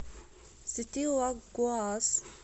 сети лагоас